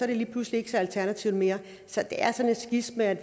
det lige pludselig ikke så alternativt mere så det er sådan et skisma at